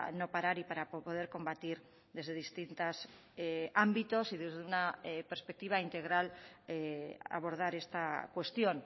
no parar y para poder combatir desde distintas ámbitos y desde una perspectiva integral abordar esta cuestión